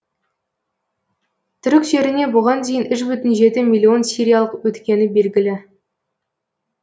түрік жеріне бұған дейін үш бүтін жеті миллион сириялық өткені белгілі